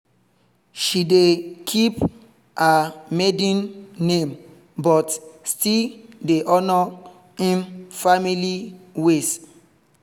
she dey keep her maiden name but still dey honour im family ways